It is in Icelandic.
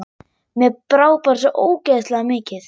Mér brá bara svo ógeðslega mikið.